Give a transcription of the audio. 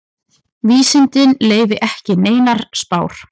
Vísindin leyfi ekki neinar spár.